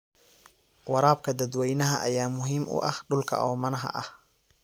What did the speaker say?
Waraabka dadwaynaha ayaa muhiim u ah dhulka oomanaha ah.